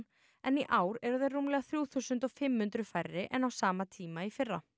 en í ár eru þær rúmlega þrjú þúsund og fimm hundruð færri en á sama tíma í fyrra